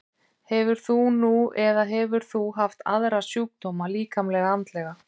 Hefur þú nú eða hefur þú haft aðra sjúkdóma, líkamlega eða andlega?